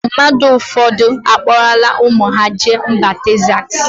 Mmadụ ụfọdụ akpọrọla ụmụ ha jee mba Texas.